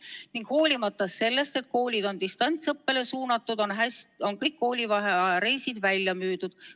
Ning hoolimata sellest, et koolid on distantsõppele suunatud, on kõik koolivaheaja reisid välja müüdud.